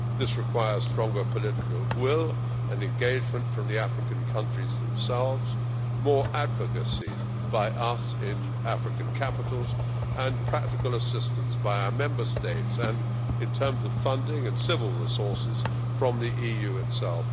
This requires stronger political will and engagement from the African countries themselves, more advocacy by us in African capitals and practical assistance by our Member States and in terms of funding and civil resources by the EU itself.